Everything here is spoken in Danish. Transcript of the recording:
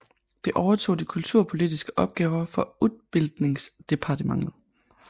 Det overtog de kulturpolitiske opgaver fra utbildningsdepartementet